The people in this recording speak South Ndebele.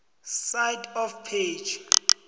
side of page